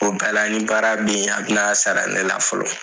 O bɛɛ la ni baara beyi a bɛna sara ne la fɔlɔ.